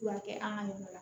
Furakɛ an ka yɔrɔ la